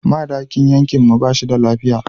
Madakin yankin mu ba shi da lafiya.